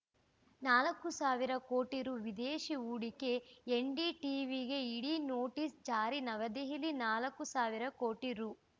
ನಾಲ್ಕು ಸಾವಿರ ಕೋಟಿ ರು ವಿದೇಶಿ ಹೂಡಿಕೆ ಎನ್‌ಡಿಟೀವಿಗೆ ಇಡಿ ನೋಟಿಸ್‌ ಜಾರಿ ನವದೆಹಲಿ ನಾಲ್ಕು ಸಾವಿರ ಕೋಟಿ ರು